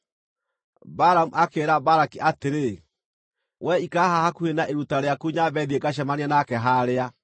Balamu akĩĩra Balaki atĩrĩ, “Wee ikara haha hakuhĩ na iruta rĩaku nyambe thiĩ ngacemanie nake haarĩa.”